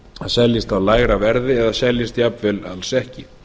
seljist á lægra verði eða seljist jafnvel alls ekki